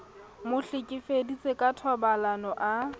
mo hlekefeditse ka thobalano a